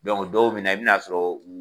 dɔw bi na i bɛna sɔrɔ u.